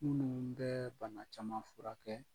Minnu bɛ bana caman furakɛ.